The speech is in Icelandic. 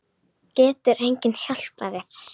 Getur enginn hjálpað þér?